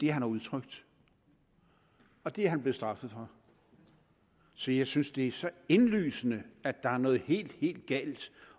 har udtrykt og det er han blevet straffet for så jeg synes det er så indlysende at der er noget helt helt galt